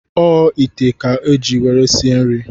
O ite a ka iji nwere sie nri?